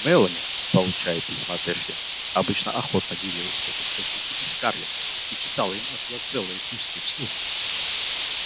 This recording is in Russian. мелани получая письма от эшли обычно охотно делилась с тётушкой питти и скарлетт и читала им оттуда целые куски вслух